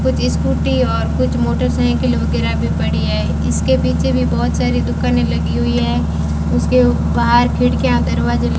कुछ स्कूटी और कुछ मोटरसाइकिल वगैरा भी पड़ी है इसके पीछे भी बहोत सारी दुकानें लगी हुई है उसके बाहर खिड़कियां दरवाजे --